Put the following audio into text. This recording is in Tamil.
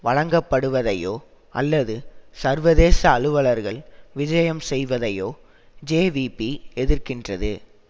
வழங்கப்படுவதையோ அல்லது சர்வதேச அலுவலர்கள் விஜயம் செய்வதையோ ஜேவிபி எதிர்க்கின்றது